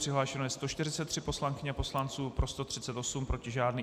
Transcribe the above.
Přihlášeno je 143 poslankyň a poslanců, pro 138, proti žádný.